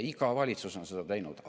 Iga valitsus on seda teinud.